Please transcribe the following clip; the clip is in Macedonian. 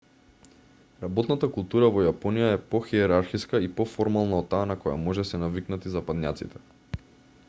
работната култура во јапонија е похиерархиска и поформална од таа на која може се навикнати западњаците